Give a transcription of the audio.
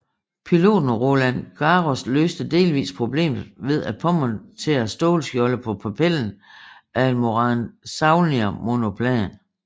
Piloten Roland Garros løste delvist problemet ved at montere stålskjolde på propellen af et Morane Saulnier monoplan